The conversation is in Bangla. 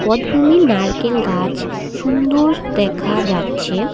ভূমি নারকেল গাছ সুন্দর দেখা যাচ্ছে।